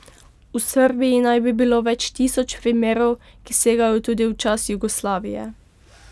V Srbiji naj bi bilo več tisoč primerov, ki segajo tudi v čas Jugoslavije.